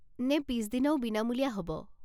নে পিছদিনাও বিনামূলীয়া হ'ব?